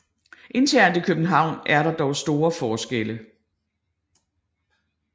Internt i København er der dog store forskelle